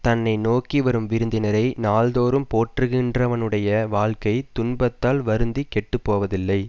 தன்னை நோக்கி வரும் விருந்தினரை நாள் தோறும் போற்றுகின்றவனுடைய வாழ்க்கை துன்பத்தால் வருந்தி கெட்டு போவதில்லை